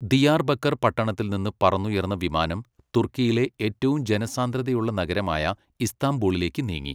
Diyarbakir പട്ടണത്തിൽ നിന്ന് പറന്നുയർന്ന വിമാനം തുർക്കിയിലെ ഏറ്റവും ജനസാന്ദ്രതയുള്ള നഗരമായ ഇസ്താംബൂളിലേക്ക് നീങ്ങി.